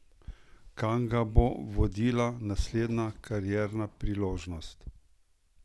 Kam ga bo vodila naslednja karierna priložnost?